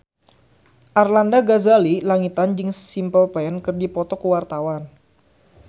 Arlanda Ghazali Langitan jeung Simple Plan keur dipoto ku wartawan